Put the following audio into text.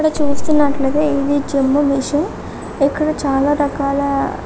ఇక్కడ చూస్తున్నట్లయితే ఇది జిమ్ము మిషన్ ఇక్కడ చాలా రకాల --